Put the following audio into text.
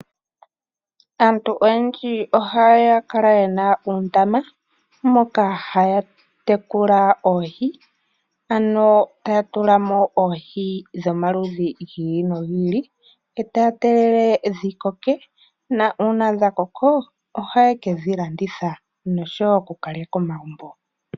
Aantu oyendji ohaya kala ye na uundama moka haya tekula oohi ano taya tula mo oohi dhomaludhi gi ili nogi ili etaya tegelele dhi koke nuuna dha koko ohaye kedhi landitha noshowo oku ka lya komagumbo.